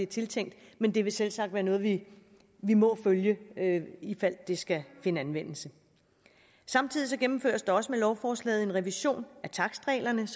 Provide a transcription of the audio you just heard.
tiltænkt men det vil selvsagt være noget vi må følge ifald det skal finde anvendelse samtidig gennemføres der også med lovforslaget en revision af takstreglerne